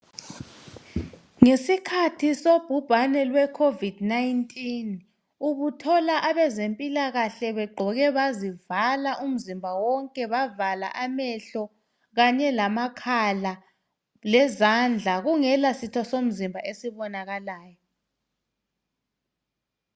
Ngesikhathi sobhubhane lweCovid 19 ubuthola abezempilakahle begqoke bazivala umzimba wonke, bavala amehlo kanye lamakhala lezandla kungela sitho somzimba esibonakalayo.